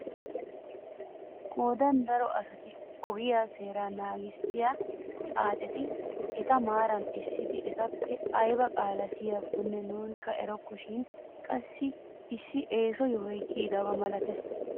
Qoodan daro asata ogiyaa seeraa nagissiyaa xaacetti eta maarara essidi etappe aybaa qaalaa siyiyakkone nuuni erokko shin qassi issi eeso yohoy kiyidaba milatees!